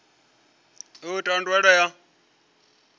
u itwa uri ndaela ya